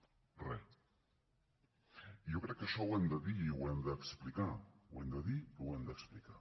i jo crec que això ho hem de dir i ho hem d’explicar ho hem de dir i ho hem d’explicar